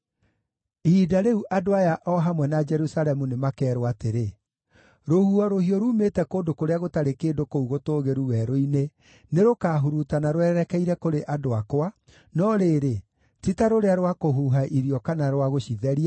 Ihinda rĩu andũ aya o hamwe na Jerusalemu nĩmakeerwo atĩrĩ, “Rũhuho rũhiũ ruumĩte kũndũ kũrĩa gũtarĩ kĩndũ kũu gũtũũgĩru werũ-inĩ nĩrũkahurutana rwerekeire kũrĩ andũ akwa, no rĩrĩ, ti ta rũrĩa rwa kũhuha irio kana rwa gũcitheria;